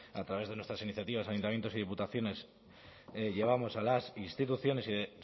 a través de nuestras iniciativas ayuntamientos y diputaciones llevamos a las instituciones y de